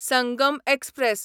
Sangam express